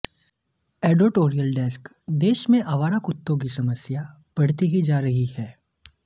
editorial desk देश में आवारा कुत्तों की समस्या बढ़ती ही जा रही है